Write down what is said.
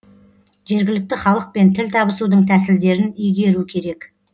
жергілікті халықпен тіл табысудың тәсілдерін игеру керек